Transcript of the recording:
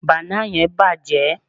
bana yen bàjé